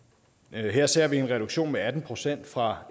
her ser vi en reduktion på atten procent fra